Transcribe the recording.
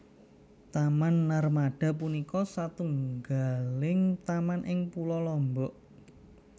Taman Narmada punika satunggaling taman ing Pulo Lombok